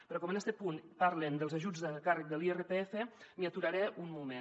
però com en este punt parlen dels ajuts de càrrec de l’irpf m’hi aturaré un moment